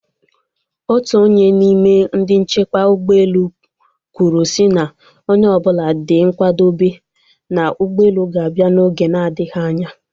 Otu onye n'ime ndị nchekwa ụgbọelu kwụrụe sị na onye ọbụla dị nkwadobe na ụgbọelu ga-abịa n'oge na adịghị anya